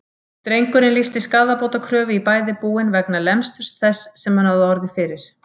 Drengurinn lýsti skaðabótakröfu í bæði búin vegna lemsturs þess sem hann hafði orðið fyrir.